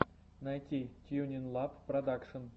найти тьюнинлаб продакшн